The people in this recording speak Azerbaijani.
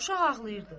Uşaq ağlayırdı.